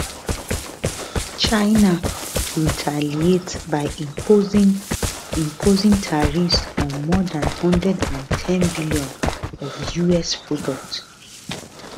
china retaliate by imposing imposing tariffs on more dan 110bn of us products